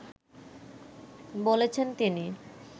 বলেছেন তিনি